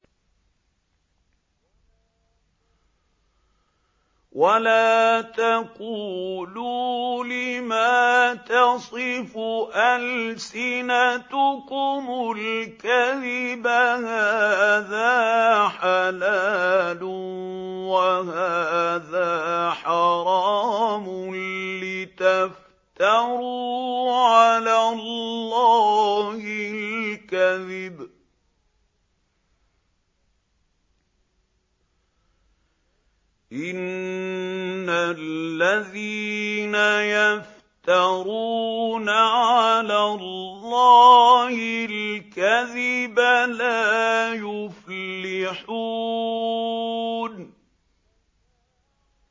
وَلَا تَقُولُوا لِمَا تَصِفُ أَلْسِنَتُكُمُ الْكَذِبَ هَٰذَا حَلَالٌ وَهَٰذَا حَرَامٌ لِّتَفْتَرُوا عَلَى اللَّهِ الْكَذِبَ ۚ إِنَّ الَّذِينَ يَفْتَرُونَ عَلَى اللَّهِ الْكَذِبَ لَا يُفْلِحُونَ